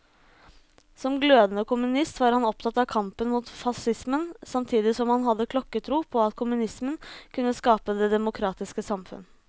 Som glødende kommunist var han opptatt av kampen mot facismen, samtidig som han hadde klokketro på at kommunismen kunne skape det demokratiske samfunn.